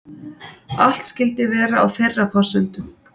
Allt skyldi vera á þeirra forsendum